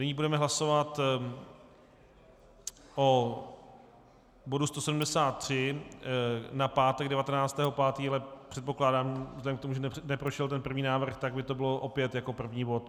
Nyní budeme hlasovat o bodu 173 na pátek 19. 5., ale předpokládám vzhledem k tomu, že neprošel ten první návrh, tak by to bylo opět jako první bod.